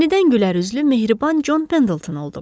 Yenidən gülərüzlü, mehriban Con Pendleton oldum.